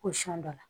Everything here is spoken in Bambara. Ko sɔn dɔ la